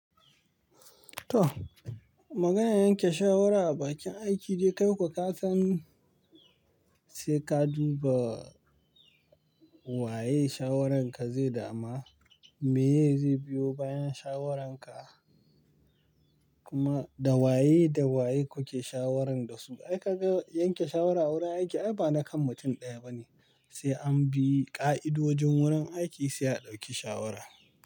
To, maganar yanke shawara a bakin aiki dai kai kuwa ka san sai ka duba waye shawaranka zai dama, meye zai biyo bayan shawaranka, kuma da waye da waye kuke shawaran da su. Ai kaga yanke shawara a wurin aiki ai ba na kan mutum ɗaya ba ne, sai an bi ƙa'idodin wurin aiki sai a ɗauki shawara.